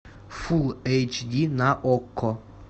фулл эйч ди на окко